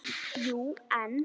Jú, en